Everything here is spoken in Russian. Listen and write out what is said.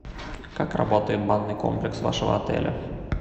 как работает банный комплекс вашего отеля